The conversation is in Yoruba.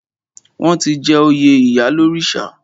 Wọ́n ti jẹ oyè ìyálórìṣà.